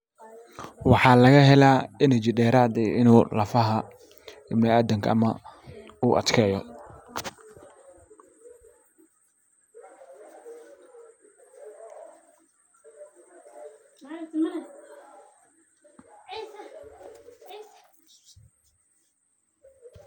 Waxaa laga helaa energy dheeraad ah inuu lafaha baniadamka ama uu adkeeyo.